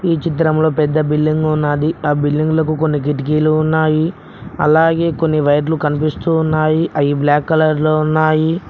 ఈ. చిత్రంలో పెద్ద బిల్డింగు ఉన్నది ఆ బిల్డింగ్లకు కొన్ని కిటికీలు ఉన్నాయి అలాగే కొన్ని వైర్లు కనిపిస్తూ ఉన్నాయి అవి బ్లాక్ కలర్ లో ఉన్నాయి.